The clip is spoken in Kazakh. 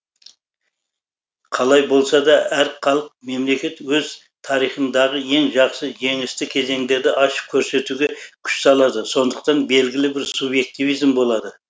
қалай болса да әр халық мемлекет өз тарихындағы ең жақсы жеңісті кезеңдерді ашып көрсетуге күш салады сондықтан белгілі бір субъективизм болады